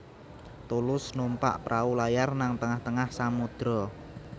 Tulus numpak prau layar nang tengah tengah samudra